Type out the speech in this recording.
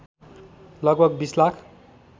लगभग २० लाख